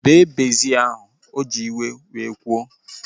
Bee bezil ahu! O ji iwe wee kwuo